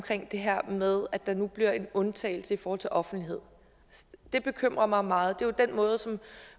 det her med at der nu bliver en undtagelse i forhold til offentlighed det bekymrer mig meget det er jo den måde som